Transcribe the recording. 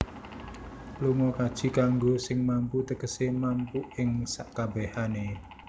Lunga kaji kanggo sing mampu Tegese mampu ing sekabehane